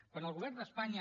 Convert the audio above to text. quan al govern d’espanya